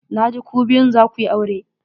Na ji ku biyun za ku yi aure.